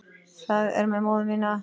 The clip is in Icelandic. Það er með móður mína.